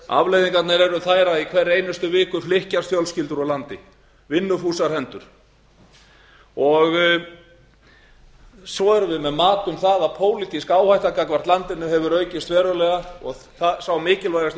afleiðingar eru þær að í hverri einustu viku flykkjast fjölskyldur úr landi vinnufúsar hendur svo erum við með mat um það að pólitísk áhætta gagnvart landinu hefur aukist verulega og sá mikilvægasti